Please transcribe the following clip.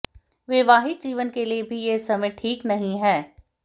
वैवाहिक जीवन के लिए भी यह समय ठीक नहीं है